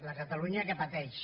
la catalunya que pateix